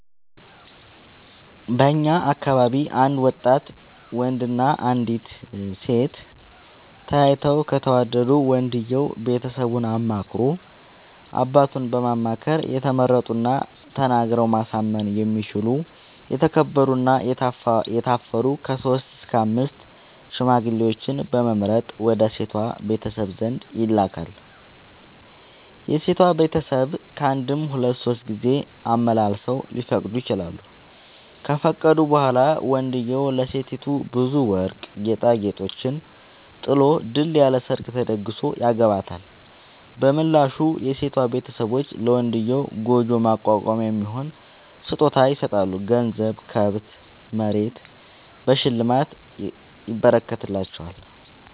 በእኛ አካባቢ አንድ ወጣት ወንድ እና አንዲት ሴት ተያይተው ከተወዳዱ ወንድየው ቤተሰቡን አማክሮ አባቱን በማማከር የተመረጡና ተናግረው ማሳመን የሚችሉ የተከበሩ እና የታፈሩ ከሶስት እስከ አምስት ሽማግሌዎችን በመምረጥ ወደ ሴቷ ቤተሰብ ዘንድ ይልካል። የሴቷ ቤተሰብ ካንድም ሁለት ሶስት ጊዜ አመላልሰው ሊፈቅዱ ይችላሉ። ከፈቀዱ በኋላ ወንድዬው ለሴቲቱ ብዙ ወርቅ ጌጣጌጦችን ጥሎ ድል ያለ ሰርግ ተደግሶ ያገባታል። በምላሹ የሴቷ ቤተሰቦች ለመንድዬው ጉጆ ማቋቋሚያ የሚሆን ስጦታ ይሰጣሉ ገንዘብ፣ ከብት፣ መሬት በሽልማት ይረከትላቸዋል።